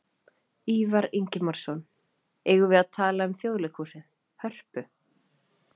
Ívar Ingimarsson: Eigum við að tala um Þjóðleikhúsið, Hörpu?